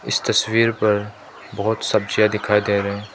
इस तस्वीर पर बहोत सब्जियां दिखाई दे रहे--